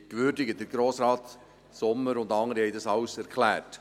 Grossrat Sommer und andere haben das alles erklärt.